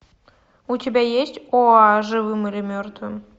у тебя есть оа живым или мертвым